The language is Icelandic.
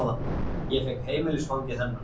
Ég fékk heimilisfangið hennar.